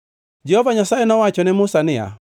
Jehova Nyasaye nowacho ne Musa niya,